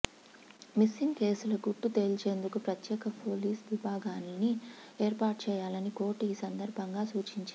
missing కేసుల గుట్టు తేల్చేందుకు ప్రత్యేక పోలీస్ విభాగాల్ని ఏర్పాటు చేయాలని కోర్టు ఈ సందర్భంగా సూచించింది